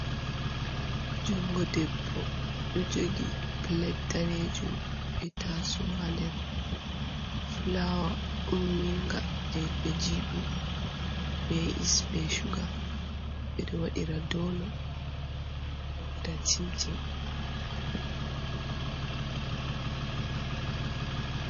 Jungo debbo ɗo jogi plate danejum be taso ha nder, flawa umminga je ɓe jiɓa yeast be shuga, ɓe ɗo waɗira donot ɓe ɗo waɗira chimcim.